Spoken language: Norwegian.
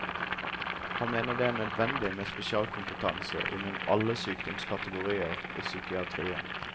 Han mener det er nødvendig med spesialkompetanse innen alle sykdomskategorier i psykiatrien.